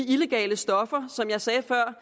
illegale stoffer som jeg sagde før